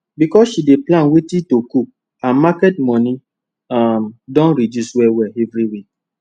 because she dey plan wetin to cook her market money um don reduce well well every week